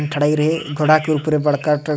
ये ठराये रहे ई घोड़ा के ऊपर बड़का ठो --